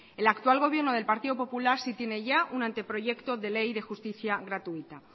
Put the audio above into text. el actual gobierno del partido popular sí tiene ya un anteproyecto de ley de justicia gratuita